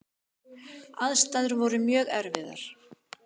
Aðstæður voru mjög erfiðar.